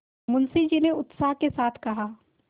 मुंशी जी ने उत्साह के साथ कहा